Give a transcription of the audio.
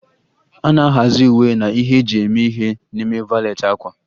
A na-ahazi uwe na ihe eji eme ihe n'ime valet ákwà.